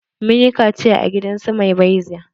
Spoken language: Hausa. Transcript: Mun yi kaciya a gidansu maibeza.